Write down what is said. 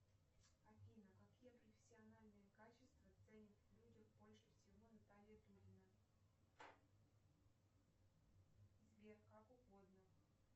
афина какие профессиональные качества ценит в людях больше всего наталья дудина сбер как угодно